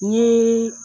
N ye